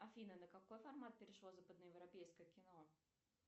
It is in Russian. афина на какой формат перешло западноевропейское кино